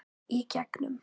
Í gegnum